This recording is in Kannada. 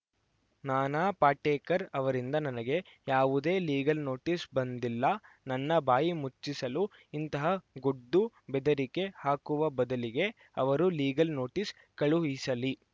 ನಾನಾ ಪಾಟೇಕರ್‌ ಅವರಿಂದ ನನಗೆ ಯಾವುದೇ ಲೀಗಲ್‌ ನೋಟಿಸ್‌ ಬಂದಿಲ್ಲ ನನ್ನ ಬಾಯಿ ಮುಚ್ಚಿಸಲು ಇಂತಹ ಗೊಡ್ಡು ಬೆದರಿಕೆ ಹಾಕುವ ಬದಲಿಗೆ ಅವರು ಲೀಗಲ್‌ ನೋಟಿಸ್‌ ಕಳುಹಿಸಲಿ